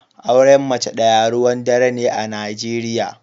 Auren mace daya ruwan dare ne a Najeriya.